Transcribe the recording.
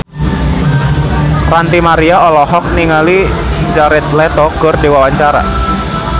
Ranty Maria olohok ningali Jared Leto keur diwawancara